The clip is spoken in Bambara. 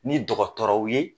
Ni dɔgɔtɔrɔw ye.